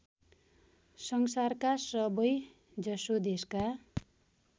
संसारका सबैजसो देशका